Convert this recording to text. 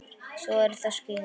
Svo eru það skíðin.